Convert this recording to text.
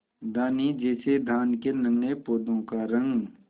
धानी जैसे धान के नन्हे पौधों का रंग